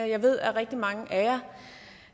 jeg ved at rigtig mange